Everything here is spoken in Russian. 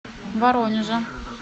воронежа